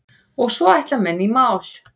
Og svo ætla menn í mál.